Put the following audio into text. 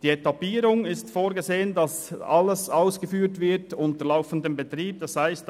Betreffend die Etappierung ist vorgesehen, dass alles bei laufendem Betrieb ausgeführt wird.